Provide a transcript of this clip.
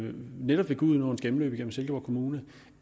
netop gudenåens gennemløb gennem silkeborg kommune